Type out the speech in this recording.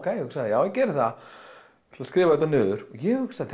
ég hugsaði já ég geri það ég ætla skrifa þetta niður ég hugsaði